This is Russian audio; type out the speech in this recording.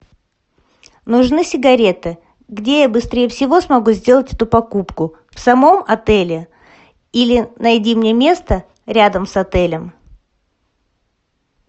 нужны сигареты где я быстрее всего смогу сделать эту покупку в самом отеле или найди мне место рядом с отелем